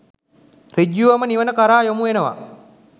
ඍජුවම නිවන කරා යොමු වෙනවා